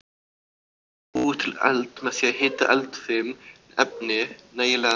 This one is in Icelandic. Hægt er að búa til eld með því að hita eldfim efni nægilega mikið.